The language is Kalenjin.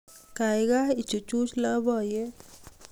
gaigai ichuchuj loboiyet